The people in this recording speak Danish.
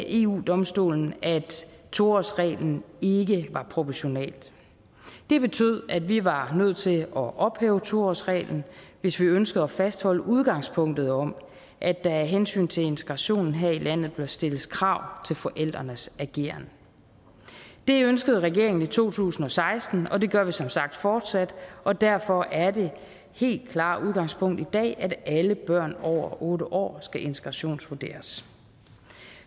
eu domstolen at to årsreglen ikke var proportional det betød at vi var nødt til at ophæve to årsreglen hvis vi ønskede at fastholde udgangspunktet om at der af hensyn til integrationen her i landet bør stilles krav til forældrenes ageren det ønskede regeringen i to tusind og seksten og det gør vi som sagt fortsat og derfor er det helt klare udgangspunkt i dag at alle børn over otte år skal integrationsvurderes